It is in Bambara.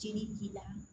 Jeli b'i la